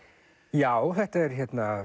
já þetta er